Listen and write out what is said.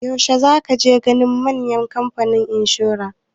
Yaushe za ka je ganin manjan kamfanin inshora?